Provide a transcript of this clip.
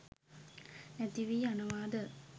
නැතිවී යනවා ද?